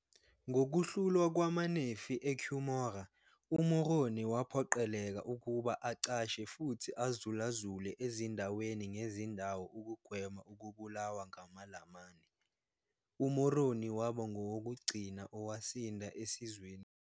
Ngokuhlulwa kwamaNefi eCumorah, uMoroni waphoqeleka ukuba acashe futhi azulazule ezindaweni ngezindawo ukugwema ukubulawa ngamaLamani. UMoroni waba ngowokugcina owasinda esizweni samaNefi.